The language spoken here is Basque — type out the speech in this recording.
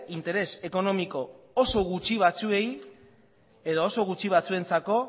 interes ekonomiko oso gutxi batzuentzako